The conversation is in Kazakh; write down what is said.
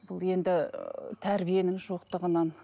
бұл енді тәрбиенің жоқтығынан